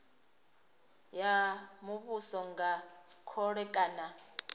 ya muvhuso nga khole kana